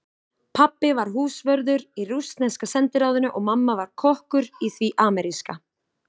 Pabbi var húsvörður í rússneska sendiráðinu og mamma var kokkur í því ameríska.